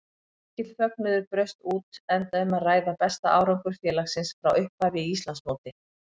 Mikill fögnuður braust út enda um að ræða besta árangur félagsins frá upphafi í Íslandsmóti.